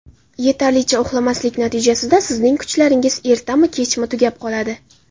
Yetarlicha uxlamaslik natijasida sizning kuchlaringiz ertami-kechmi tugab qoladi.